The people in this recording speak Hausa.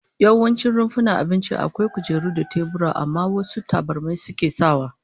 Yawancin rumfunan abinci akwai kujeru da tebura, amma wasu tabarmi suke sawa